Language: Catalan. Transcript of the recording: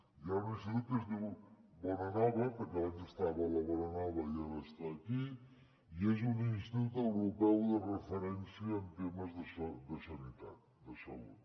hi ha un institut que es diu bonanova perquè abans estava a la bonanova i ara està aquí i és un institut europeu de referència en temes de sanitat de salut